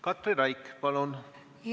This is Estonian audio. Katri Raik, palun!